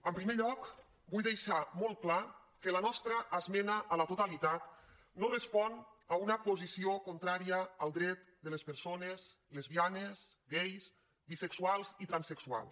en primer lloc vull deixar molt clar que la nostra esmena a la totalitat no respon a una posició contrària al dret de les persones lesbianes gais bisexuals i transsexuals